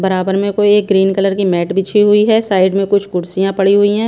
बराबर में कोई एक ग्रीन कलर की मैट बिछी हुई है साइड में कुछ कुर्सियाँ पड़ी हुई हैं।